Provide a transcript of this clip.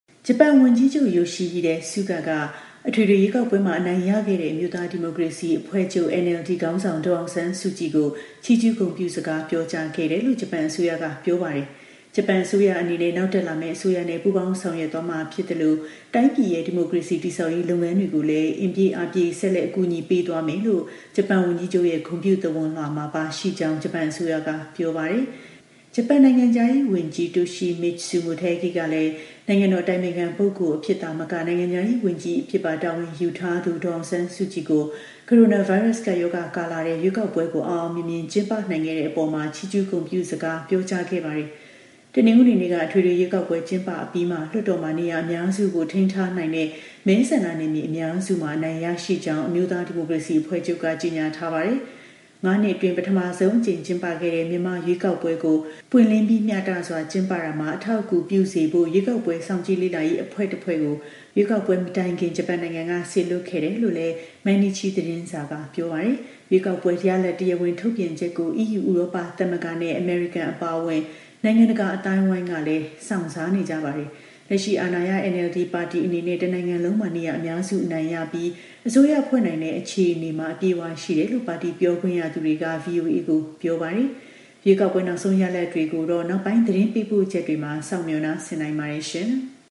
ဂျပန် ဝန်ကြီးချုပ် Yoshihide Suga က အထွေထွေ ရွေးကောက်ပွဲမှာ အနိုင်ရခဲ့တဲ့ အမျိုးသား ဒီမိုကရေစီ အဖွဲ့ချုပ် (NLD) ခေါင်းဆောင် ဒေါ်အောင်ဆန်းစုကြည်ကို ချီးကျူး ဂုဏ်ပြုစကား ပြောကြားခဲ့တယ်လို့ ဂျပန်အစိုးရက ပြောပါတယ်။ ဂျပန် အစိုးရအနေနဲ့ နောက်တက်လာမယ့် အစိုးရနဲ့ ပူးပေါင်း ဆောင်ရွက်သွားမှာ ဖြစ်သလို တိုင်းပြည်ရဲ့ ဒီမိုကရေစီ တည်ဆောက်ရေး လုပ်ငန်းတွေကိုလည်း အင်ပြည့်အားပြည့် ဆက်လက် အကူအညီ ပေးသွားမယ်လို့ ဂျပန်ဝန်ကြီးချုပ်ရဲ့ ဂုဏ်ပြု သဝဏ်လွှာမှာ ပါရှိကြောင်း ဂျပန်အစိုးရက ပြောပါတယ်။ ဂျပန် နိုင်ငံခြားရေး ဝန်ကြီး Toshimitsu Motegi ကလည်း နိုင်ငံတော် အတိုင်ပင်ခံပုဂ္ဂိုလ် အဖြစ်သာမက နိုင်ငံခြားရေး ဝန်ကြီး အဖြစ်ပါ တာဝန်ယူထားသူ ဒေါ်အောင်ဆန်းစုကြည်ကို ကိုရိုနာဗိုင်းရပ်စ် ကပ်ရောဂါကာလထဲ ရွေးကောက်ပွဲကို အောင်အောင် မြင်မြင် ကျင်းပနိုင်ခဲ့တဲ့အပေါ် ချီးကျူးဂုဏ်ပြုစကား ပြောကြားခဲ့ပါတယ်။ တနင်္ဂနွေနေ့က အထွေထွေ ရွေးကောက်ပွဲ ကျင်းပအပြီးမှာ လွှတ်တော်မှာ နေရာ အများစုကို ထိန်းထားနိုင်တဲ့ မဲဆန္ဒနယ်မြေ အများစုမှာ အနိုင်ရရှိကြောင်း အမျိုးသား ဒီမိုကရေစီ အဖွဲ့ချုပ်က ကြေညာထားတာပါ။ ၅ နှစ်အတွင်း ပထမဆုံးအကြိမ်ကျင်းပခဲ့တဲ့ မြန်မာ့ ရွေးကောက်ပွဲကို ပွင့်လင်းပြီး မျှတစွာ ကျင်းပရာမှာ အထောက်အကူ ပြုစေဖို့ရွေးကောက်ပွဲ စောင့်ကြည့် လေ့လာရေး အဖွဲ့တစ်ဖွဲ့ကို ရွေးကောက်ပွဲ မတိုင်မီ ဂျပန်နိုင်ငံက စေလွှတ်ခဲ့တယ်လို့လည်း Mainichi သတင်းစာက ပြောပါတယ်။ ရွေးကောက်ပွဲ ရလဒ်တရားဝင်ထုတ်ပြန်ချက်ကို EU ဥရောပသမဂ္ဂနဲ့ အမေရိကန်အပါအဝင် နိုင်ငံတကာအသိုင်းအဝိုင်းကလည်း စောင့်စားနေကြပါတယ်။ လက်ရှိအာဏာရ NLD ပါတီအနေနဲ့ တနိုင်ငံလုံးမှာ နေရာအများစုအနိုင်ရပြီး အစိုးရဖွဲ့နိုင်တဲ့အခြေအနေမှာ အပြည့်အဝရှိတယ်လို့ ပါတီပြောခွင့်ရသူတွေက VOA ကို ပြောထားပါတယ်။ ရွေးကောက်ပွဲနောက်ဆုံးရလဒ်တွေကိုတော့ နောက်ပိုင်း သတင်းပေးပို့ချက်တွေမှာ စောင့်မျှော်နားဆင်နိုင်ပါတယ်။